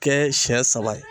Kɛ siɲɛ saba ye